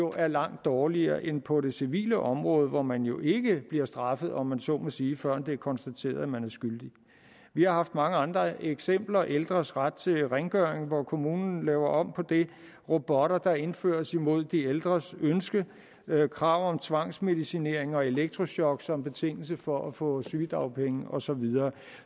er langt dårligere end på det civile område hvor man jo ikke bliver straffet om man så må sige før det bliver konstateret at man er skyldig vi har haft mange andre eksempler ældres ret til rengøring hvor kommunen laver om på det robotter der indføres imod de ældres ønske krav om tvangsmedicinering og elektrochok som betingelse for at få sygedagpenge og så videre